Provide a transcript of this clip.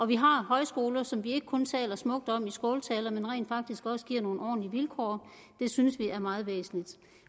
vi har højskoler som vi ikke kun taler smukt om i skåltaler men rent faktisk også giver nogle ordentlige vilkår synes vi er meget væsentligt